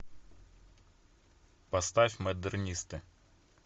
поставь модернисты